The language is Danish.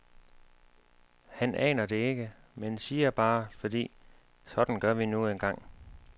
Han aner det ikke, men siger bare, fordi, sådan gør vi nu engang.